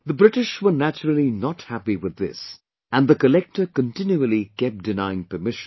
The British were naturally not happy with this and the collector continually kept denying permission